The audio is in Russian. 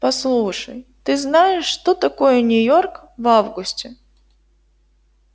послушай ты знаешь что такое нью-йорк в августе